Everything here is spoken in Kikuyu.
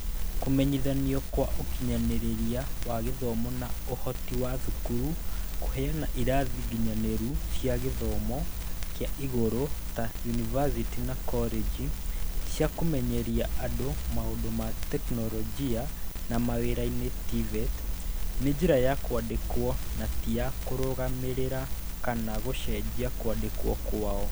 Kũmenyithanio kwa ũkinyanĩria wa gĩthomo na ũhoti wa thukuru kũheana irathi nginyanĩru cia gĩthomo kĩa igũrũ ta yunivacĩtĩ na koreji cia Kũmenyeria andũ maũndũ ma tekinoronjĩ na mawĩra-inĩ (TVET) nĩ njĩra ya kwandĩkwo na ti ya kũrũgamĩrĩra kana gũcenjia kwandĩkwo kwao